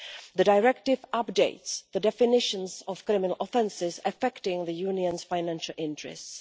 The Directive updates the definitions of criminal offences affecting the Union's financial interests.